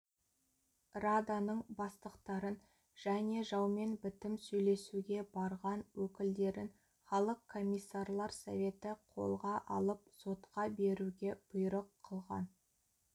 раданың бастықтарын және жаумен бітім сөйлесуге барған өкілдерін халық комиссарлар советі қолға алып сотқа беруге бұйрық қылған